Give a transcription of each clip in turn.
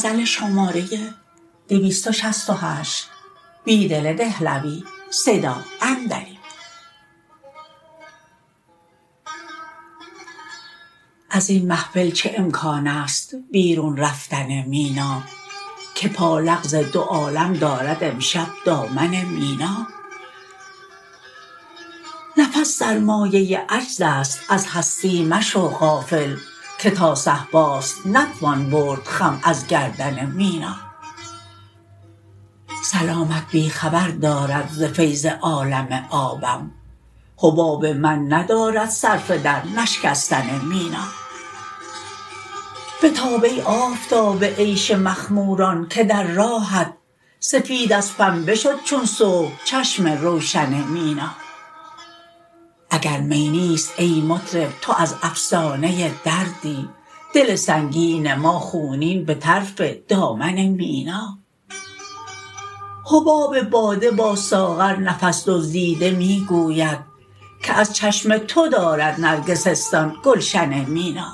ازین محفل چه امکان است بیرون رفتن مینا که پالغز دو عالم دارد امشب دامن مینا نفس سرمایه عجزاست از هستی مشو غافل که تا صهباست نتوان برد خم ازگردن مینا سلامت بی خبر دارد ز فیض عالم آبم حباب من ندارد صرفه در نشکستن مینا بتاب ای آفتاب عیش مخموران که در راهت سفیدازپنبه شد چون صبح چشم روشن مینا اگر می نیست ای مطرب تو ازافسانه دردی دل سنگین ما خونین به طرف دامن مینا حباب باده با ساغر نفس دزدیده می گوید که از چشم تو دارد نرگسستان گلشن مینا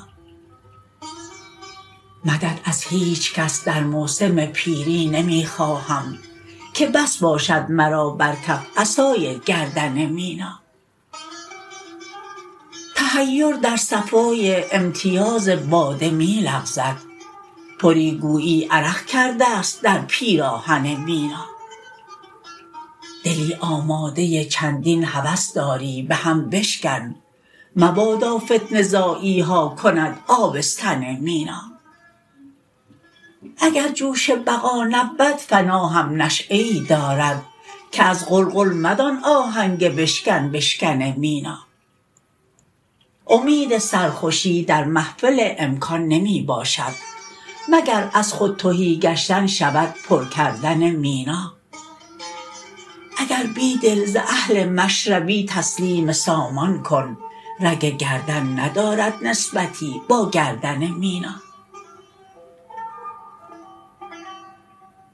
مدد از هیچ کس در موسم پیری نمی خواهم که بس باشد مرا برکف عصای گردن مینا تحیر در صفای امتیاز باده می لغزد پری گویی عرق کرده ست در پیراهن مینا دلی آمادة چندین هوس داری بهم بشکن مبادا فتنه زاییها کند آبستن مینا اگر جوش بقا نبود فنا هم نشیه ای دارد که از قلقل مدان آهنگ بشکن بشکن مینا امید سرخوشی در محفل امکان نمی باشد مگر از خود تهی گشتن شود پرکردن مینا اگر بیدل ز اهل مشربی تسلیم سامان کن رگ گردن ندارد نسبتی باگردن مینا